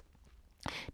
DR2